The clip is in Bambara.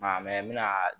Maa n bɛna